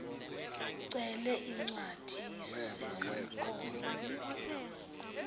ucele iincwadi zesikolo